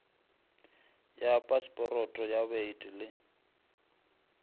ya pasporoto ya baeti le